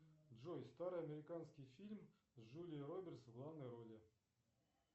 джой старый американский фильм с джулией робертс в главной роли